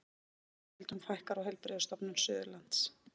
Stöðugildum fækkar á Heilbrigðisstofnun Suðurlands